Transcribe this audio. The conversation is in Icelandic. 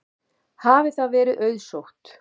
Hafi það verið auðsótt.